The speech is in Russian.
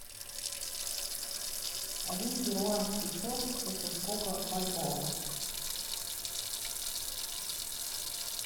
один перуанский соль это сколько бальбоа